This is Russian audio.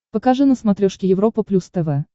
покажи на смотрешке европа плюс тв